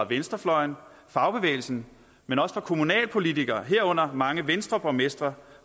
venstrefløjen fagbevægelsen men også fra kommunalpolitikere herunder mange venstreborgmestre